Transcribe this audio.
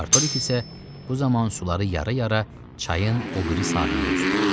Artorix isə bu zaman suları yarı-yara çayın o biri sahilinə üzürdü.